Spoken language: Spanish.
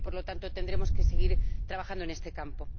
Y, por lo tanto, tendremos que seguir trabajando en este campo.